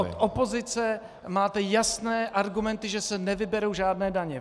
Od opozice máte jasné argumenty, že se nevyberou žádné daně.